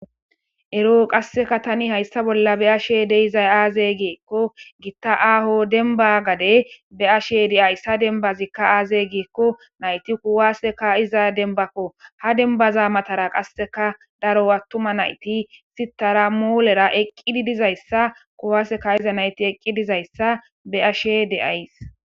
Ero qasseka tani hayssa bolla be ashe deizay aaze geekko gitta aaho denba gade be ashe de'ayssa dembazikka aaze geekko nayti kuwaseka iza denbakko ha denbaza matara qasseka daro attuma nayti sitara moolera eqqidi dizayssa kuwaseka iza nayti eqqi dizayssa be ashe de'ays.